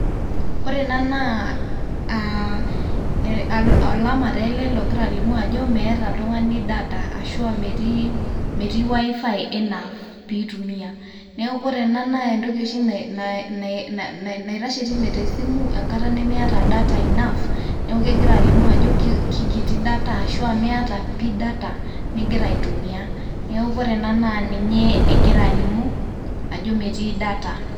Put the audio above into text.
ore ena naa aa olama tee ele logira alimu ajo meeta oltungani data ashuaa metii, metii wifi enough pitumia . niaku ore ena naa entoki oshi na na naitashe teine te te simu enkata nimiata data enough ]cs] niaku kegira alimu ajo kikiti data ashu miata pi data ningira aitumia .